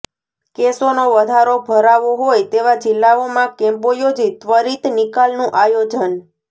કેસોનો વધારે ભરાવો હોય તેવા જિલ્લાઓમાં કેમ્પો યોજી ત્વરિત નિકાલનું આયોજન